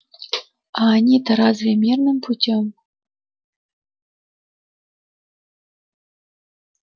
а они-то разве мирным путём